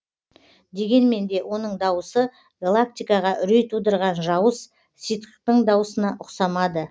дегенмен де оның дауысы галактикаға үрей тудырған жауыз ситхтің дауысына ұқсамады